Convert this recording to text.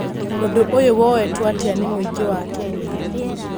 ũndũ ũyũ woetwo atia nĩ mũingĩ wa Kenya?